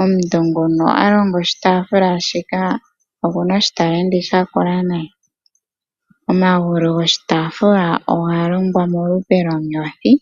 Omuntu nguno a longa oshitafula shika oku na oshitalenti oshinene nayi. Omagulu goshitafula oga longwa molupe lwonyothi.